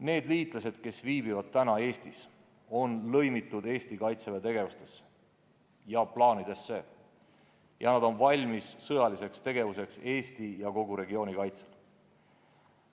Need liitlased, kes viibivad Eestis, on lõimitud Eesti Kaitseväe tegevustesse ja plaanidesse ning nad on valmis sõjaliseks tegevuseks Eesti ja kogu regiooni kaitsel.